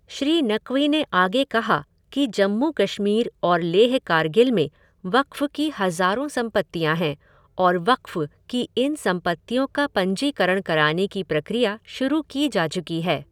श्री नक़वी ने आगे कहा कि जम्मू कश्मीर और लेह कारगिल में वक़्फ़ की हज़ारों संपत्तियां हैं और वक़्फ़ की इन संपत्तियों का पंजीकरण कराने की प्रक्रिया शुरू की जा चुकी है।